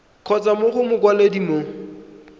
kgotsa mo go mokwaledi mo